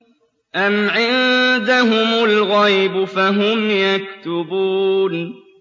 أَمْ عِندَهُمُ الْغَيْبُ فَهُمْ يَكْتُبُونَ